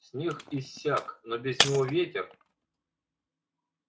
снег иссяк но без него ветер